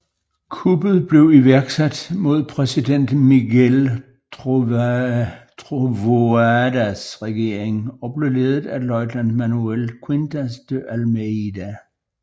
Kuppet blev iværksat mod præsident Miguel Trovoadas regering og blev ledet af løjtnant Manuel Quintas de Almeida